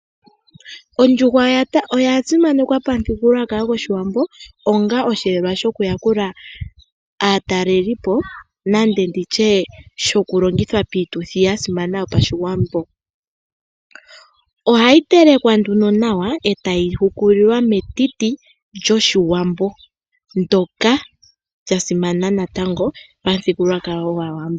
Ondjuhwa oya simanekwa pamuthigulukwakalo goshiwambo onga oshiyelelwa shoku yakula aatalelipo nande nditye shoku longithwa piituthi yasimana yopashiwambo. Ohayi telekwa nduno nawa e tayi hukulilwa metiti lyoshiwambo ndoka lya simana natango pamuthigulukwakalo gwaawambo.